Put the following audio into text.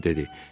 Kiber dedi.